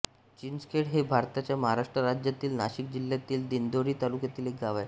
चिंचखेड हे भारताच्या महाराष्ट्र राज्यातील नाशिक जिल्ह्यातील दिंडोरी तालुक्यातील एक गाव आहे